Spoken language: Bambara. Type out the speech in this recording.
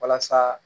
Walasa